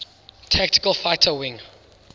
tactical fighter wing